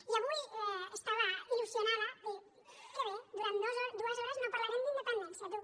i avui estava il·lusionada de dir que bé durant dues hores no parlarem d’independència tu